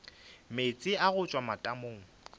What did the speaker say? meetse a go tšwa matamong